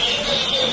Dayaq boşaldırıq.